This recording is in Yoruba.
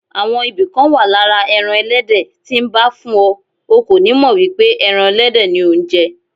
Àwọn ibì kan wà lára ẹran Ẹlẹ́dẹ̀ tí nbá fún ọ, o kò nímọ̀ wípé ẹran Ẹlẹ́dẹ̀ ni ò ńjẹ.